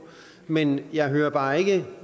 men jeg hører bare ikke